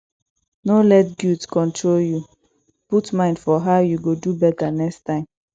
no let guilt control yu put mind for how yu go do beta next time